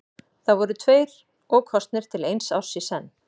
Þeir voru tveir og kosnir til eins árs í senn.